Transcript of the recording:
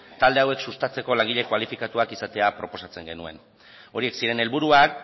talde hauek sustatzeko langile kualifikatuak izatea proposatzen genuen horiek ziren helburuak